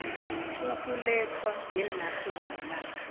ukulethwa ngenarheni namkha